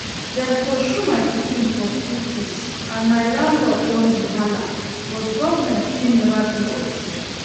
Dem pursue my pikin for school fees and my landlord don hey halla but government still never pay us